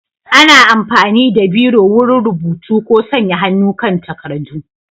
Ana amfani da Biro wurin rubutu ko sanya hannu kan takardu.